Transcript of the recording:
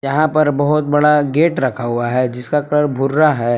यहां पर बहुत बड़ा गेट रखा हुआ है जिसका कलर भुर्रा है।